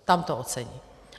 Tam to ocení.